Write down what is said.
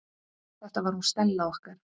Þetta var hún Stella okkar.